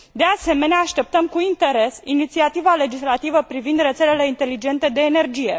De asemenea, așteptăm cu interes inițiativa legislativă privind rețelele inteligente de energie.